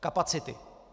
Kapacity.